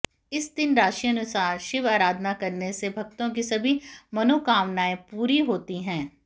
इस दिन राशि अनुसार शिव आराधना करने से भक्तों की सभी मनोकामनाएं पूरी होती है